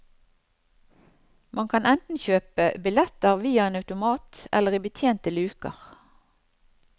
Man kan enten kjøpe biletter via en automat eller i betjente luker.